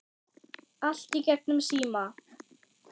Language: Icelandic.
Allt í gegnum síma.